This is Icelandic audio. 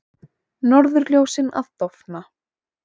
Norðurljósin að dofna